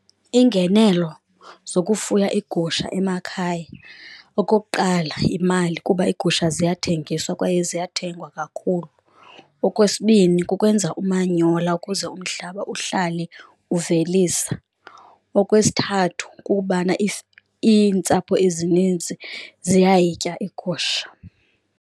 Iingenelo zokufuya iigusha emakhaya. Okokuqala, yimali kuba iigusha ziyathengiswa kwaye ziyathengwa kakhulu. Okwesibini, kukwenza umanyola ukuze umhlaba uhlale uvelisa. Okwesithathu, kukubana iintsapho ezininzi ziyayitya iigusha.